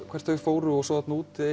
hvert þau fóru og svo þarna úti